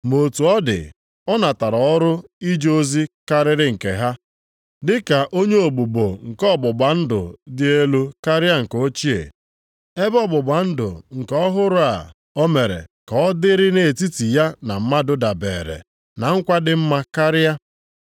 Ma otu ọ dị, ọ natara ọrụ ije ozi karịrị nke ha, dị ka onye ogbugbo nke ọgbụgba ndụ dị elu karịa nke ochie, ebe ọgbụgba ndụ nke ọhụrụ a o mere ka ọ dịrị nʼetiti ya na mmadụ dabeere na nkwa dị mma karịa.